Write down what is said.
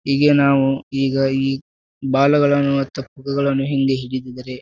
ಈಗ ನಾವು ಈಗ ಈ ಬಾಲಗಳನ್ನುಎತ್ತ ಪುಕ್ಕಗಳನ್ನು ಹಿಂದೆ ಹಿಡಿದ್ದಿದರೆ.